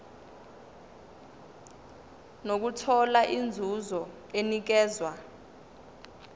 nokuthola inzuzo enikezwa